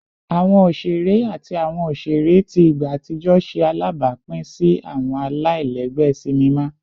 Awọn oṣere ati awọn oṣere ti igba atijọ ṣe alabapin si awọn alailẹgbẹ sinima